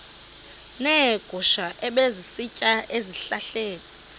neegusha ebezisitya ezihlahleni